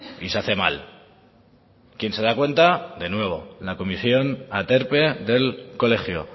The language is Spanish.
y se hace mal quién se da cuenta de nuevo la comisión aterpe del colegio